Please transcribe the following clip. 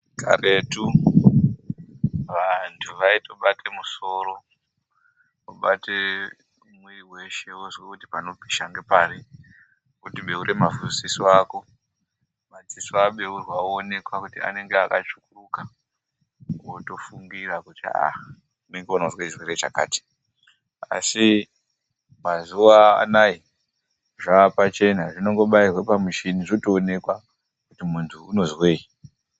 Karetu, vantu vaitobate musoro vobate mwiri weshe vozwe kuti panopisha ngepari voti beura madziso ako, madziso abeurwa oonekwa kuti anenge atsvukuruka. Wotofungira kuti, aah, unenge unozwe chakati. Asi mazuva anaa, zvaapachena unongobairwa pakamuchini, zvotooneka kuti muntu unozweyi.